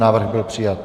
Návrh byl přijat.